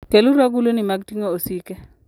Keluru agulini mag ting'o osike.